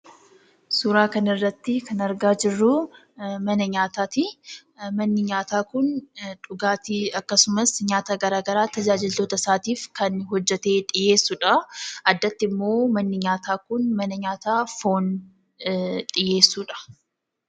Suuraa kanarratti kan argaa jirru mana nyaataati. Manni nyaataa kun dhugaatii akkasumas nyaata garaagaraa maammiltoota isaatiif kan hojjatee dhiyeessudha. Addattimmoo manni nyaataa kun mana nyaataa foon dhiyeessudha.